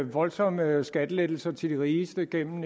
voldsomme skattelettelser til de rigeste igennem